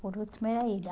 Por último, era ele. A